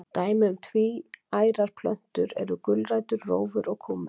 Dæmi um tvíærar plöntur eru gulrætur, rófur og kúmen.